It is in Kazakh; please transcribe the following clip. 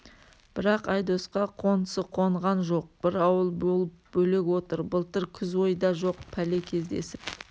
бірақ айдосқа қонсы қонған жоқ бір ауыл болып бөлек отыр былтыр күз ойда жоқ пәле кездесіп